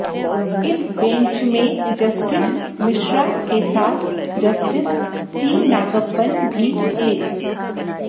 इस बेंच में जस्टिस मिश्रा के साथ जस्टिस सी नागप्पन भी थे